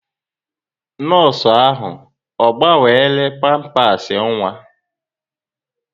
Nọọsụ ahụ ọ gbanwere pampasị nwa?